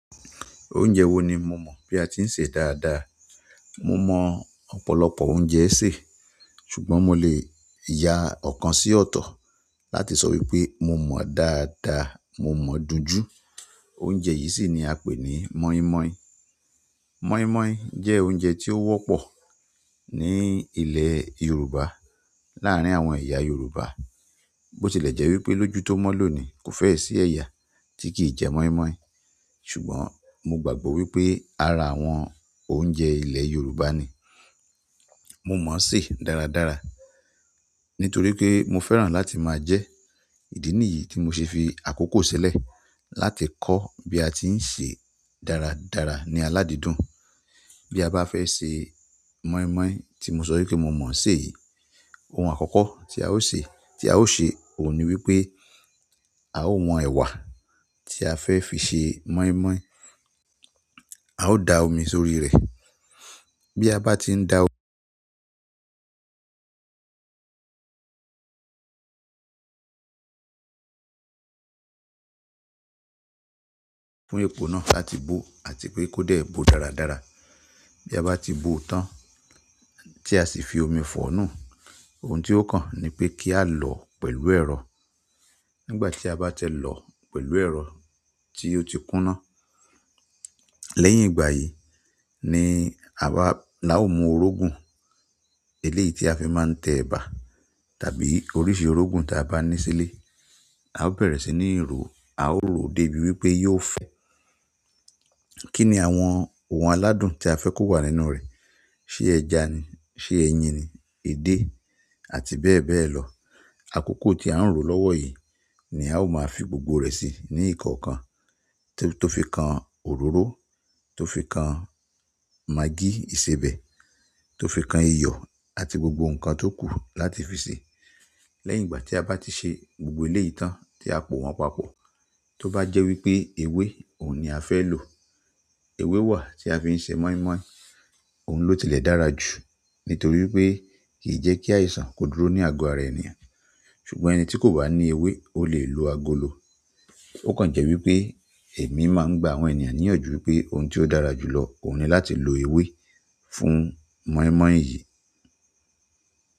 Oúnjẹ wo ni mo mọ̀ bí a ti ń sè dáadáa. Mo mọ̀ ọ̀pọ̀lọpọ̀ oúnjẹ sè, ṣùgbọ́n mo lè ya ọ̀kan sí ọ̀tọ̀ láti sọ wípé mo mọ̀ dáadáa, mo mọ̀ dùn jù. Oúnjẹ yìí sì ni a ń pè ní mọ́ímọ́í. Mọ́ímọ́í jẹ́ oúnjẹ tí ó wọ́pọ̀ ní ilẹ̀ Yorùbá láàárín àwọn eyá Yorùbá. Bó ti lẹ̀ jẹ́ wípé lójú tó mọ́ lónìí kò fẹ́ẹ̀ sí ẹ̀yà tí kì í jẹ mọ́ímọ́í, ṣùgbọ́n mo gbàgbọ́ wípé ara àwọn òunje ilẹ̀ Yorùbá ni. Mo mọ̀ ṣé dáradára nítorí pé mo fẹ́ràn láti máa jẹ. Ìdí nìyí tí mo ṣe fi àkókò ṣẹlẹ̀ láti kọ́ bí a ti ń sè dáradára ní aládídùn. Bí a bá fẹ́ ṣe mọ́ímọ́í tí mo sọ wípé mo mọ̀ ṣé yìí, ohun àkọ́kọ́ tí a ó ṣe, tí a ó ṣe òun ni wípé a ó won ẹ̀wà tí a fẹ́ fi ṣe mọ́ímọ́í. A ó da omi sórí rẹ̀. Bí a bá ti ń da fún epo náà láti bó àti pé kó dé bó dáradára. Bí a bá ti bó tán tí a sì fi omi fọ̀ọ́ nù, ohun tí ó kàn ni pé kí á lọ̀ọ́ pẹ̀lú ẹ̀rọ. Nígbà tí a bá tẹ́ lọ̀ pẹ̀lú ẹ̀rọ tí ó ti kúná. Lẹ́yìn ìgbà yìí ni a bá, la ó mu orógun eléyi tí a fi máa ń tẹ ẹ̀bà tàbí oríṣi orógun ta bá ní sílé. A ó bẹ̀rẹ̀ sí ní rò, a ó rò dé bí wípé yó ó fẹ́. Kí ni àwọn ohun aládùn tí a fẹ́ kó wà nínú rẹ̀? Ṣé ẹ̀ja ni, ṣe ẹ̀yin ni, edé àti bẹ́ẹ̀ bẹ́ẹ̀ lọ. Àkókò tí a ń rò lọ́wọ́ yìí ni a ó máa fi gbogbo rẹ̀ sí ní ìkọ̀okan tó fi kan òróró, tó fi kan magí ìsebẹ̀, tó fi kan iyọ̀ àti gbogbo nǹkan tó kù láti fi sẹ. Lẹ́yìn ìgbà tí a bá ti ṣe gbogbo eléyi tán tí a pò wọn papọ̀, tó bá jẹ́ wípé ewé òun ni a fẹ́ lò. Ewé wà tí a fi ń ṣe mọ́ímọ́í, òun ló tilẹ̀ dára jù nítorí pé kì í jẹ́ kí àìsàn kó dúró ní ago ara ènìyàn. Ṣùgbọ́n ẹni ti ko ba ni ewe o le lo agolo. Ó kàn jẹ́ wípé èmi máa ń gba àwọn ènìyàn níyànjú wípé ohun tí ó dára jù lọ òun ni láti lo ewé fún mọ́ímọ́í yìí.